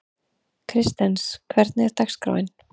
Kristens, hvernig er dagskráin?